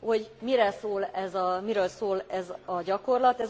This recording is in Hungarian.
hogy miről szól ez a gyakorlat.